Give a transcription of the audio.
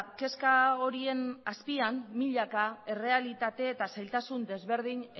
kezka horien azpian milaka errealitate eta zailtasun ezberdin